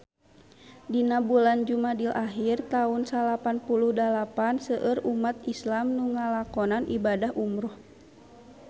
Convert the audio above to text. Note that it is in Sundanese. Dina bulan Jumadil ahir taun salapan puluh dalapan seueur umat islam nu ngalakonan ibadah umrah